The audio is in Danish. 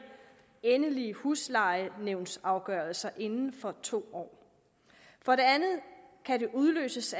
endelige huslejenævnsafgørelser inden for to år og for det andet kan den udløses